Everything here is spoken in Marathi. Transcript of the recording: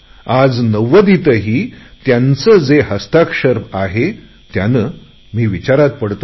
आज नव्वदीतही त्यांचे जे हस्ताक्षर आहे त्याने मी चकित होतो